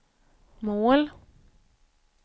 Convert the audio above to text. mål